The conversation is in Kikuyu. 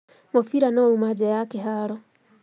Mũbira nĩwauma nja ya kĩharo